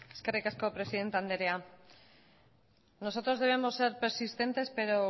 eskerrik asko presidente andrea nosotros debemos ser persistentes pero